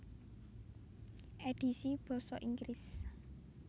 Édhisi basa Inggris